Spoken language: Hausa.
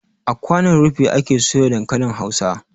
A kwanon rufi ake soya dankalin hausa